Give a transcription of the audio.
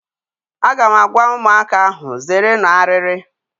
Aga m agwa ụmụaka ahụ, zeerenụ arịrị!